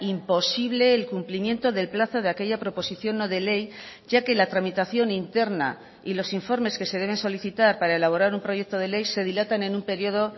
imposible el cumplimiento del plazo de aquella proposición no de ley ya que la tramitación interna y los informes que se deben solicitar para elaborar un proyecto de ley se dilatan en un periodo